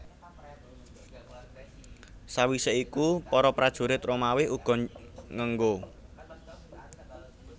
Sawisé iku para prajurit Romawi uga ngenggo